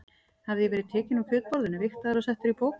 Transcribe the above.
Hafði ég verið tekinn úr kjötborðinu, vigtaður og settur í poka?